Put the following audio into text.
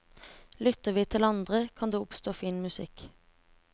Lytter vi til andre, kan det oppstå fin musikk.